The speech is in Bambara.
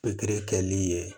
Pikiri kɛli ye